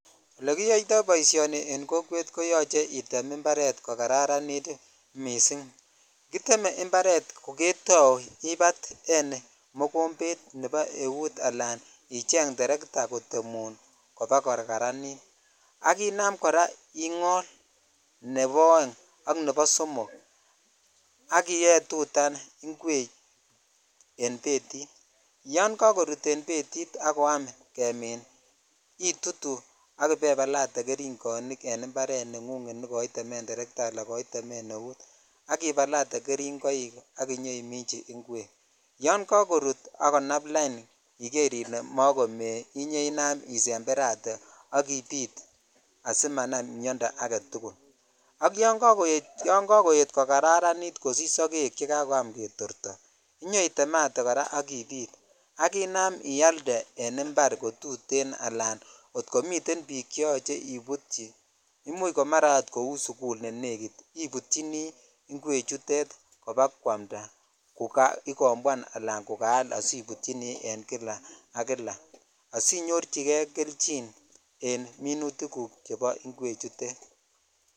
Oleiyoitoi boishoni en kokwet koyochee item imparet kokararan missing kiteme imparet ko ketou ibaten mokombet ab eut alaicheng Teresa kotemun kobakokaranit ak inam kora ingol nebo oeng ak nebo somok ak ibetutan ingwek en betit yan kakorut en betit ak koelyam kemin litutuu ak ibebalate kerungoinken imparet ngung nekoitemen Teresa ala koitemen eut ak ibalate keringoik ak inyoimichi ingwek yon kakorut ak konam lain iker ile mokome inyoinam isemberatee ak ibit asimanam miondoo aketukulak Yon kakoet kokararanit kosich sogek chekokoam ketorto iyoitemate kora ak ibit ak ialde en impar kotutenala kot komiten bik cheyoche ibutyi imuch komara ako ko sukul nenegit ibutyini ingwek kobakwalda ko kiaikombwan ala asibutyini en kila ak kila asinyorchikei kelchin en minutit guk chebo ingwek chutet .